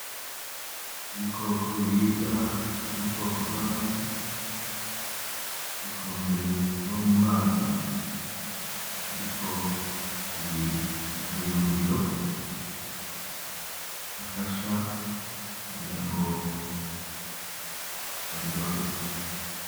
Ibikoko biribwa vyo mubwoko bwamafi, bikunze kuba mumazi ariko biri mukayungiro, gafasha kugira ngo babirobe.